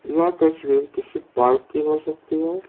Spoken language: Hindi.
यह तस्वीर किसी पार्क की हो सकती है।